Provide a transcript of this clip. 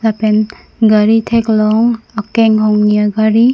lapen gari thek long akeng hongni a gari.